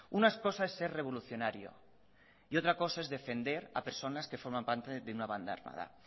una cosa es ser revolucionario y otra cosa es defender a personas que forman parte de una banda armada